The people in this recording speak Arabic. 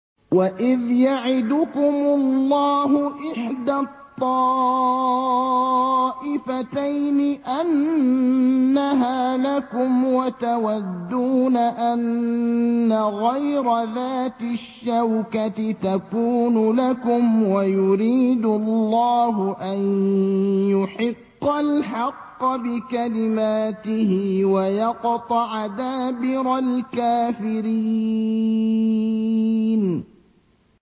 وَإِذْ يَعِدُكُمُ اللَّهُ إِحْدَى الطَّائِفَتَيْنِ أَنَّهَا لَكُمْ وَتَوَدُّونَ أَنَّ غَيْرَ ذَاتِ الشَّوْكَةِ تَكُونُ لَكُمْ وَيُرِيدُ اللَّهُ أَن يُحِقَّ الْحَقَّ بِكَلِمَاتِهِ وَيَقْطَعَ دَابِرَ الْكَافِرِينَ